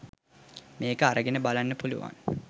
මේක අරගෙන බලන්න පුළුවන්.